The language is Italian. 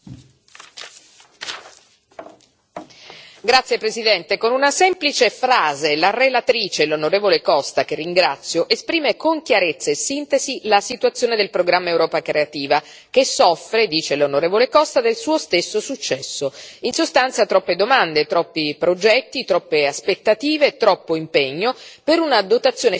Signor Presidente, onorevoli colleghi, con una semplice frase, la relatrice, l'onorevole Costa, che ringrazio, esprime con chiarezza e sintesi la situazione del programma Europa creativa che soffre dice l'onorevole Costa del suo stesso successo. In sostanza, troppe domande, troppi progetti, troppe aspettative, troppo impegno, per una dotazione finanziaria così limitata.